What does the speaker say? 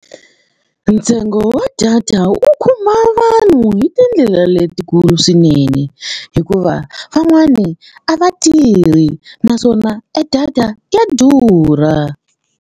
Ntsengo wa data wu khumba vanhu hi tindlela letikulu swinene hikuva van'wani a va tirhi naswona e data ya durha.